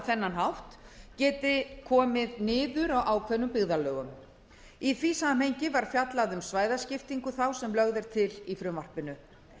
þennan hátt geti komið niður á ákveðnum byggðarlögum í því samhengi var fjallað um svæðaskiptingu þá sem lögð er til í frumvarpinu